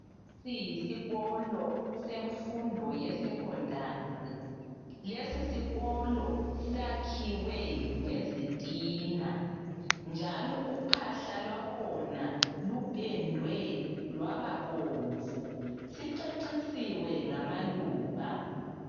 Lesi yisikolo semfundo ye secondary. Lesi sikolo sakhiwe ngezitina njalo uphahla lwakhona lupendiwe lwababomvu. Sicecisiwe ngamaluba.